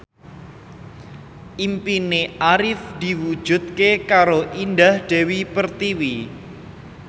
impine Arif diwujudke karo Indah Dewi Pertiwi